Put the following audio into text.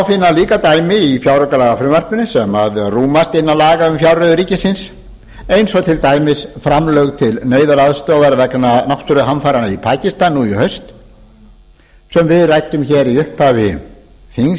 finna dæmi í fjáraukalagafrumvarpinu sem rúmast innan laga um fjárreiður ríkisins eins og til dæmis framlög til neyðaraðstoðar vegna náttúruhamfaranna í pakistan nú í haust sem við ræddum hér í upphafi þings í